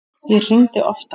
Ég hringdi oftar.